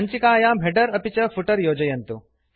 सञ्चिकायां हेडर् अपि च फुटर् योजयन्तु